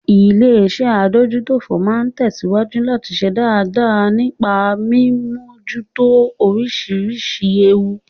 Illéeṣẹ́ adójútófò máa tẹ̀síwájú láti ṣe dáadáa nípa mí mímójútó oríṣiríṣi ewu.